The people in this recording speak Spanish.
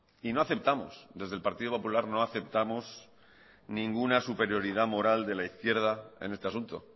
y no aceptamos desde el partido popular no aceptamos ninguna superioridad moral de la izquierda en este asunto